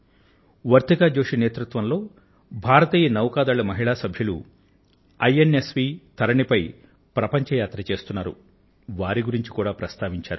వర్తిక జోషి నేతృత్వంలో INS V Tarini మీద ప్రపంచ యాత్ర చేస్తున్నటువంటి భారతీయ నౌకాదళ మహిళా సభ్యులను గురించి కూడా ఆయన పేర్కొన్నారు